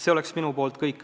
See on minu poolt kõik.